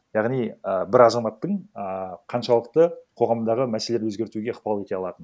яғни і бір азаматтың ааа қаншалықты қоғамдағы мәселелер өзгертуге ықпал ете алатыны